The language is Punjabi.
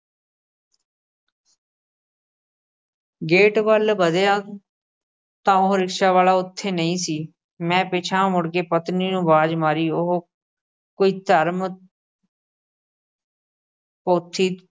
ਗੇਟ ਵੱਲ ਵਧਿਆ ਤਾਂ ਉਹ ਰਿਕਸ਼ੇ ਵਾਲਾ ਉੱਥੇ ਨਹੀਂ ਸੀ। ਮੈਂ ਪਿਛਾਂਹ ਮੁੜ ਕੇ ਪਤਨੀ ਨੂੰ ਆਵਾਜ਼ ਮਾਰੀ ਉਹ ਕੋਈ ਧਰਮ ਪੋਥੀ